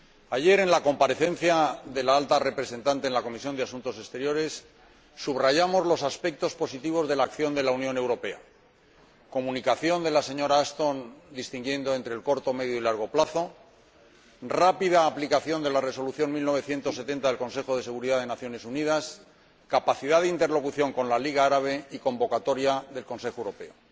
Ayer, en la comparecencia de la Alta Representante ante la Comisión de Asuntos Exteriores, subrayamos los aspectos positivos de la acción de la Unión Europea comunicación de la señora Ashton en la que se distingue entre el corto, el medio y el largo plazo, rápida aplicación de la Resolución 1970 del Consejo de Seguridad de las Naciones Unidas, capacidad de interlocución con la Liga Árabe y convocatoria del Consejo Europeo.